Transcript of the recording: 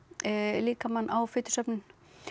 líkamann á fitusöfnun